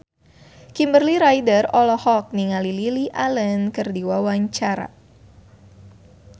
Kimberly Ryder olohok ningali Lily Allen keur diwawancara